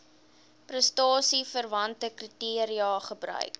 prestasieverwante kriteria gebruik